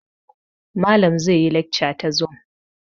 Malam zai yi laxca ta zum